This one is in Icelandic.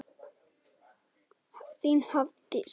Þín Hafdís.